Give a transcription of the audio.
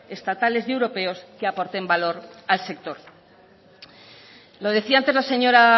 estatales y europeos que aporten valor al sector lo decía antes la señora